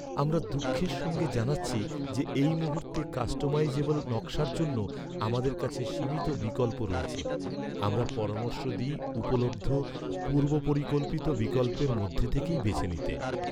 আমরা দুঃখের সঙ্গে জানাচ্ছি যে এই মুহূর্তে কাস্টমাইজেবল নকশার জন্য আমাদের কাছে সীমিত বিকল্প রয়েছে। আমরা পরামর্শ দিই উপলব্ধ পূর্ব পরিকল্পিত বিকল্পের মধ্যে থেকেই বেছে নিতে।